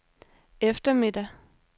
eftermiddag